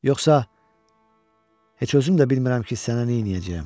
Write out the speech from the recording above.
Yoxsa heç özüm də bilmirəm ki, sənə nə eləyəcəyəm.